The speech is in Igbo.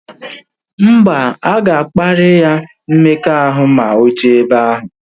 Mba, aga kparia ya mmekọahụ ma oje ebe ahu